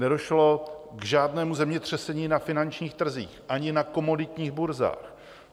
Nedošlo k žádnému zemětřesení na finančních trzích ani na komoditních burzách.